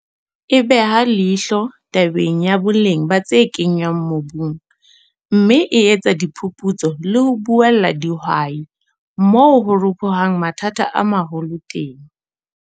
E beha leihlo tabeng ya boleng ba tse kenngwang mobung, mme e etsa diphuputso le ho buella dihwai moo ho ropohang mathata a maholo teng.